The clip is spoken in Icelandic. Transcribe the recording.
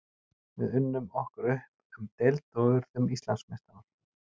Við unnum okkur upp um deild og urðum Íslandsmeistarar.